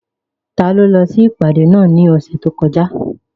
Taló lọ sí ìpàdé náà ní ọ̀sẹ̀ tó kọjá?